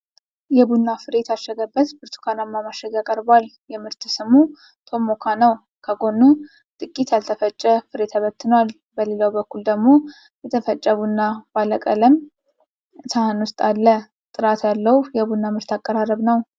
የቡና ፍሬ የታሸገበት ብርቱካናማ ማሸጊያ ቀርቧል። የምርት ስሙ 'ቶሞካ' ነው። ከጎኑ ጥቂት ያልተፈጨ ፍሬ ተበትኗል። በሌላው በኩል ደግሞ የተፈጨ ቡና ባለ ቀለም ሳህን ውስጥ አለ። ጥራት ያለው የቡና ምርት አቀራረብ ነው።